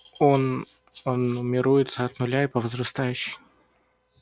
он он нумеруется от нуля и по возрастающей